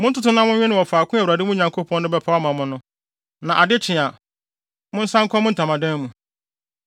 Montoto na monwe no wɔ faako a Awurade, mo Nyankopɔn no, bɛpaw ama mo no. Na ade kye a, monsan nkɔ mo ntamadan mu.